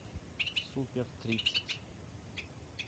супер тридцать